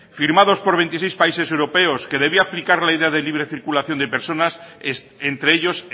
firmados por veintiséis países europeos que debía aplicar la idea de libre circulación de personas entre ellos